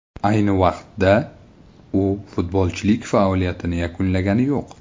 Ayni vaqtda, u futbolchilik faoliyatini yakunlagani yo‘q.